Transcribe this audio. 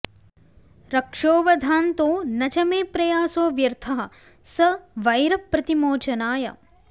रक्षोवधान्तो न च मे प्रयासो व्यर्थः स वैरप्रतिमोचनाय